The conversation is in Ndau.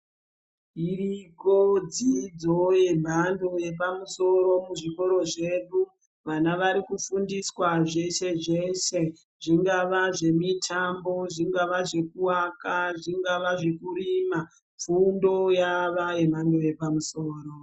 Iriko dzidzo yemhando yepamusoro kuzvikora zvedu vana vari kufundiswa zvese zvese zvingava zvemitambo zvingava zvekuvaka zvingava zvekurima fundo yava yemhando yepamusoro.